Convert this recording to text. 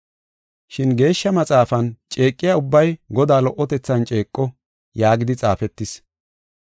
Shin, Geeshsha Maxaafan, “Ceeqiya ubbay Godaa lo77otethan ceeqo” yaagidi xaafetis.